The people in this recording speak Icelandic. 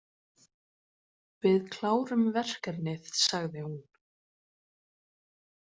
Við klárum verkefnið, sagði hún.